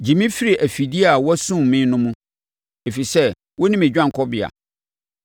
Gye me firi afidie a wɔasum me no mu, ɛfiri sɛ wo ne me dwanekɔbea.